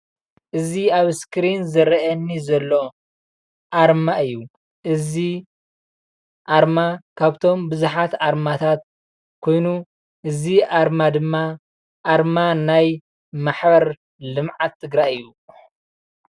እዚ ኣብ እስክሪን ዝረአየኒ ዘሎ ኣርማ እዩ፣ እዚ ኣርማ ካብቶም ብዙሓት ኣርማታት ኮይኑ እዚ ኣርማ ድማ ኣርማ ናይ ማሕበር ልምዓት ትግራይ እዩ፡፡